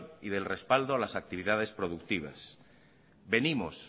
y del respaldo a las actividades productivas venimos